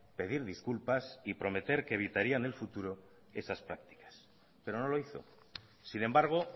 pedir disculpas y prometer que evitaría en el futuro esas prácticas pero no lo hizo sin embargo